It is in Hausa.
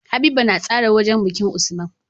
Habiba na tsara wajan bikin usman